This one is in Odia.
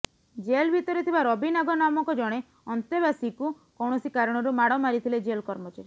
ଜେଲ ଭିତରେ ଥିବା ରବି ନାଗ ନାମକ ଜଣେ ଅନ୍ତେବାସୀକୁ କୌଣସି କାରଣରୁ ମାଡ଼ ମାରିଥିଲେ ଜେଲ୍ କର୍ମଚାରୀ